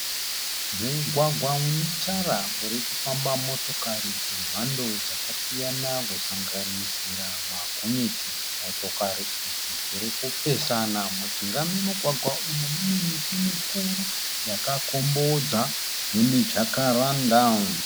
Mugwagwa une tara uri kufamba motokari dzemhando dzakasiyana kusanganisira magonyeti. Motokari idzi dziri kupesana, mujinga memugwagwa umu mune miti mikuru yakakombodza yemi Jakaranda.